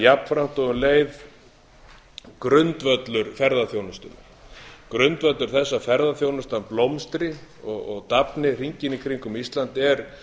jafnframt og um leið grundvöllur ferðaþjónustunnar grundvöllur þess að ferðaþjónustan blómstri og dafni hringinn í kringum ísland er